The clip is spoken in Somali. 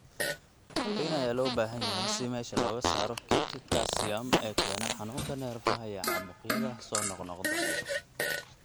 Qalliin ayaa loo baahan karaa si meesha looga saaro kaydka calcium ee keena xanuunka neerfaha iyo caabuqyada soo noqnoqda.